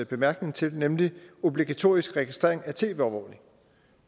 bemærkning til nemlig obligatorisk registrering af tv overvågning